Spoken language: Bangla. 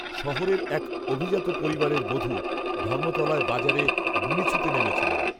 শহরের, এক অভিজাত পরিবারের বধূ, ধর্মতলায় বাজারে, বুড়ি ছুঁতে নেমেছিলেন